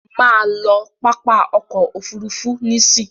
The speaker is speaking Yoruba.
Má lọ pápá ọkọ̀ òfurufú nísìí!